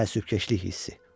Təəssüfkeşlik hissi.